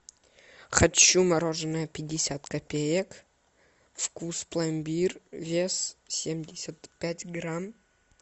хочу мороженое пятьдесят копеек вкус пломбир вес семьдесят пять грамм